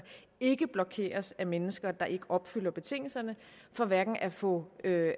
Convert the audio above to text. ikke blokeres af mennesker der ikke opfylder betingelserne for hverken at få